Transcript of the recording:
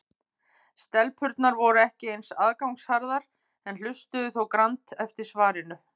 Stelpurnar voru ekki eins aðgangsharðar en hlustuðu þó grannt eftir svarinu.